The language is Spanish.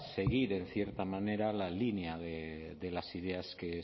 seguir en cierta manera la línea de las ideas que